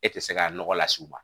E tɛ se ka nɔgɔ las'u ma